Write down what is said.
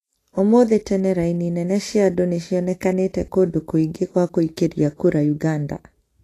ũmuthi tene raini nene cia andũ nĩonekanite kũndũ kwingĩ gwa guikiria kura Uganda